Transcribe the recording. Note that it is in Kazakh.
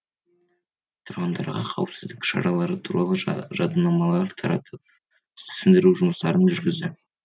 тұрғындарға қауіпсіздік шаралары туралы жадынамалар таратып түсіндіру жұмыстарын жүргізді